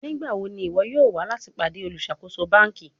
Nigbawo ni iwọ yoo wa lati pade oluṣakoso banki?